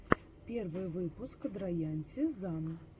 первый выпуск драянте зан